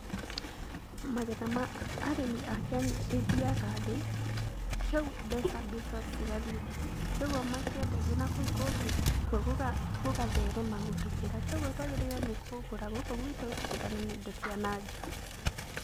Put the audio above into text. Magetha ma arĩmi a Kenya ĩthiaga thĩ, mbeca cigathiĩ thĩ. Kogwo makĩenderio na kũu kũngĩ kwo gũgatherema gũtũkĩra. Kogwo twagĩrĩirwo nĩ kũgũra gũkũ gwitũ tũtigane na indo cia na nja.